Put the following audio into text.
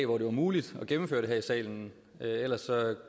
hvor det var muligt at gennemføre det her i salen ellers